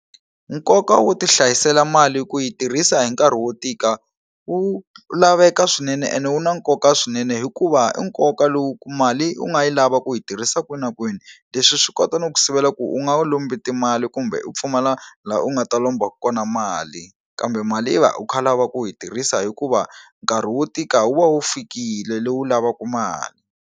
Nkoka wo ti hlayisela mali ku yi tirhisa hi nkarhi wo tika wu laveka swinene ene wu na nkoka swinene hikuva i nkoka lowu ku mali u nga yi lava ku yi tirhisa kwini na kwini leswi swi kota no ku sivela ku u nga wu lombi timali kumbe u pfumala la u nga ta lomba kona mali kambe mali i va u kha u lava ku yi tirhisa hikuva nkarhi wo tika wu va wu fikile lowu lavaka mali.